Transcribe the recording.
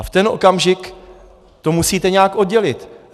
A v ten okamžik to musíte nějak oddělit.